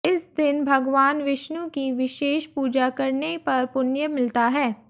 इस दिन भगवान विष्णु की विशेष पूजा करने पर पुण्य मिलता है